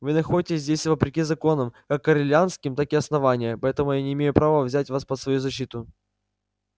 вы находитесь здесь вопреки законам как корелианским так и основания поэтому я не имею права взять вас под свою защиту